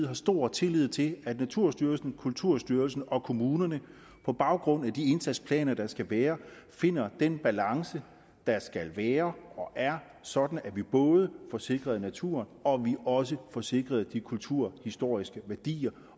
har stor tillid til at naturstyrelsen kulturstyrelsen og kommunerne på baggrund af de indsatsplaner der skal være finder den balance der skal være og er sådan at vi både får sikret naturen og vi også får sikret de kulturhistoriske værdier